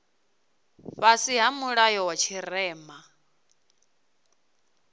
fhasi ha mulayo wa tshirema